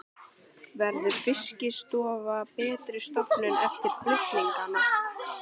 Verður Fiskistofa betri stofnun eftir flutningana?